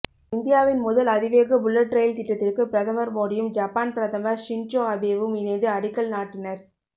இந்தியாவின் முதல் அதிவேக புல்லட் ரயில் திட்டத்திற்கு பிரதமர் மோடியும் ஜப்பான் பிரதமர் ஷின்சோ அபேவும் இணைந்து அடிக்கல் நாட்டினர்